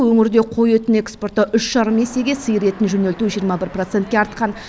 өңірде қой етін экспорттау үш жарым есеге сиыр етін жөнелту жиырма бір процентке артқан